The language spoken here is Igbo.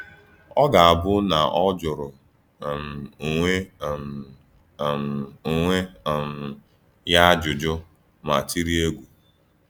Ọ ga-abụ na o jụrụ um onwe um um onwe um ya ajụjụ ma tiri egwu.